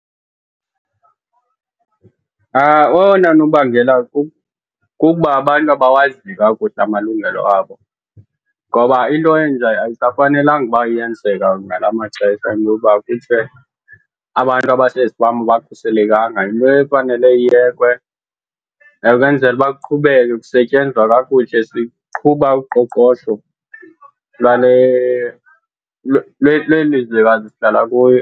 Owona nobangela kukuba abantu abawazi kakuhle amalungelo abo. Ngoba into enje ayisafanelanga uba iyenzeka ngala maxesha, into yoba kuthiwe abantu abasezifama abakhuselekanga. Yinto efanele iyekwe kwenzele uba kuqhubeke kusetyenzwa kakuhle, siqhuba uqoqosho lwale lweli lizwekazi sihlala kuyo.